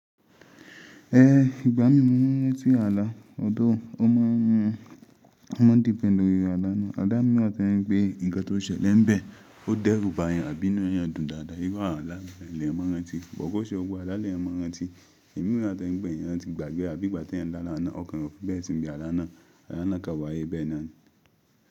Ẹ, ìgbá mi mú wọn wẹ̀ sí ààlà, ọ̀tọ́, ó má a ń dín bẹ̀ lórí ààlà náà. Ààlà míwà tí wọ́n ń pe ìgan tó ṣẹlẹ̀ níbẹ̀. Ó dẹ́rùbà eyan, àbínú yan dùn dáadáa. Íwọ ààlà lẹ́ẹ̀ mọ́ rántí, bọ̀kọ̀ṣe gbogbo ààlà lẹ́ẹ̀ mọ́ rántí. Ẹ̀mí wà tí ń gbẹ̀ yẹn rántí ìgbàgbé àbí ìgbà tí ẹ̀ ń dá láàná. Ọkàn rẹ fún bí ẹ́ ti ń gbé ààlà náà. Ààlà náà kà wáyé bẹ́ẹ̀ náà.